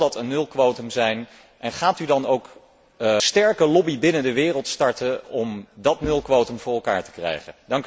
Zal dat een 0 quotum zijn en gaat u dan ook een sterke lobby binnen de wereld starten om dat 0 quotum voor elkaar te krijgen?